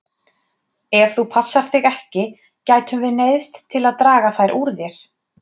Ef þú passar þig ekki gætum við neyðst til að draga þær úr þér.